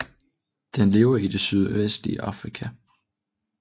Den lever i det sydøstlige Afrika